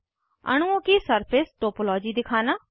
अणुओं की surface topology दिखाना